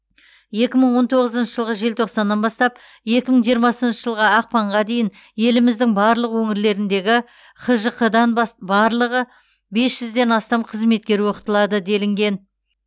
екі мың он тоғызыншы жылғы желтоқсаннан бастап екі мың жиырмасыншы жылғы ақпанға дейін еліміздің барлық өңірлеріндегі хжқ дан бас барлығы бес жүзден астам қызметкер оқытылады делінген